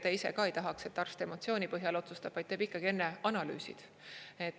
Te ise ka ei tahaks, et arst emotsiooni põhjal otsustab, vaid teeb enne analüüsid.